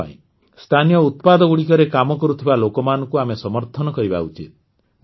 ସେଥିପାଇଁ ସ୍ଥାନୀୟ ଉତ୍ପାଦଗୁଡ଼ିକରେ କାମ କରୁଥିବା ଲୋକମାନଙ୍କୁ ଆମେ ସମର୍ଥନ କରିବା ଉଚିତ